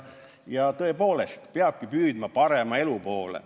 Ja tõepoolest peabki püüdma parema elu poole.